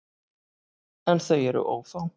En þau eru ófá.